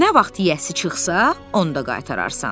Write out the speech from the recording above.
Nə vaxt yeyəsi çıxsa, onda qaytararsan.